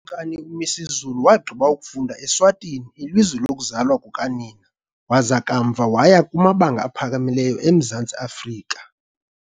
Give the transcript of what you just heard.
UKumkani uMisuzulu wagqiba ukufunda eSwatini, ilizwe lokuzalwa kukanina, waza kamva waya kumabanga aphakamileyo eMzantsi Afrika, eSt .